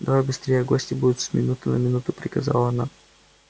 давай быстрее гости будут с минуты на минуту приказала она